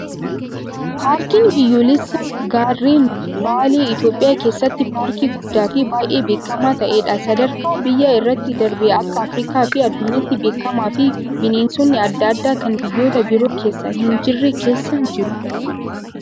Paarkiin biyyoolessaa gaarren baalee Itoophiyaa keessatti paarkii guddaa fi baay'ee beekamaa ta'edha. Sadarkaa biyyaa irra darbee akka Afrikaa fi addunyaatti beekamaa fi bineensonni adda addaa kan biyyoota biroo keessa hin jirre keessa jiru.